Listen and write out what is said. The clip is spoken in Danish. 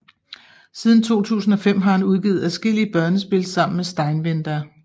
Siden 2005 har han udgivet adskillige børnespil sammen med Steinwender